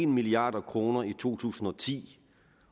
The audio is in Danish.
milliard kroner i to tusind og ti